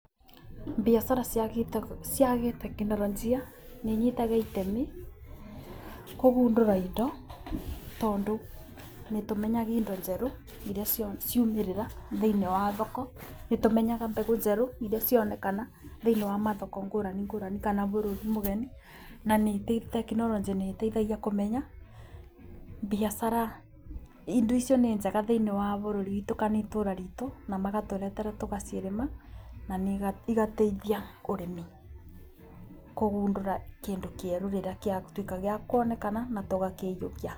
Biacara cia gĩ cia gĩtekinironjĩ nĩinyitaga itemi kũgundũra indo, tondũ nĩtũmenyaga indo njerũ irĩa ciamĩrĩra thĩiniĩ wa thoko. Nĩtũmenyaga mbegũ njerũ iria cionekana thĩiniĩ wa mathoko ngũrani ngũrani kana bũrũri mũgeni. Na ningĩ tekinoronjĩ nĩĩteithagia kũmenya biacara, indo icio nĩnjega thĩiniĩ wa bũrũri kana itũra ritu, na magatũretera tũgacirĩma na igateithia ũrĩmi kũgundũra kĩndĩ kĩerũ rĩrĩa gĩatuĩka gĩa kuonekana na tũgagĩhiũkia.